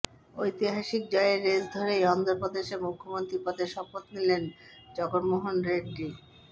ঐতিহাসিক জয়ের রেশ ধরেই অন্ধ্র প্রদেশে মুখ্যমন্ত্রী পদে শপথ নিলেন জগন্মোহন রেড্ডি